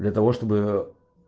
для того чтобы